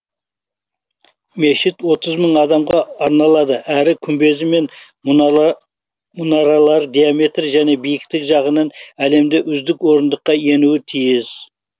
мешіт отыз мың адамға арналады әрі күмбезі мен мұнаралары диаметрі және биіктігі жағынан әлемде үздік ондыққа енуі тиіс